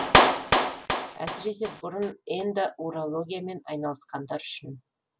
әсіресе бұрын эндоурологиямен айналысқандар үшін